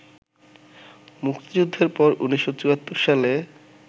মুক্তিযুদ্ধের পর ১৯৭৪ সালে